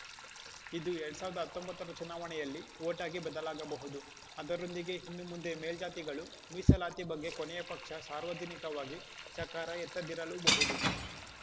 ಇದು ಎರಡ್ ಸಾವಿರದ ಹತ್ತೊಂಬತ್ತರ ಚುನಾವಣೆಯಲ್ಲಿ ಓಟಾಗಿ ಬದಲಾಗಬಹುದು ಅದರೊಂದಿಗೆ ಇನ್ನು ಮುಂದೆ ಮೇಲ್ಜಾತಿಗಳು ಮೀಸಲಾತಿ ಬಗ್ಗೆ ಕೊನೆಯ ಪಕ್ಷ ಸಾರ್ವಜನಿಕವಾಗಿ ಚಕಾರ ಎತ್ತದಿರಲೂಬಹುದು